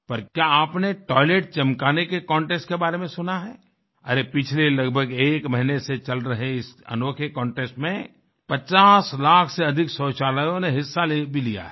पर क्या आपने टॉयलेट चमकाने के कॉन्टेस्ट के बारे में सुना है अरे पिछले लगभग एक महीने से चल रहे इस अनोखे कॉन्टेस्ट में 50 लाख से अधिक शौचालयों ने हिस्सा ले भी लिया है